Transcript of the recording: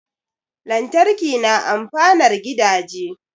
Lantarki na amfanar gidaje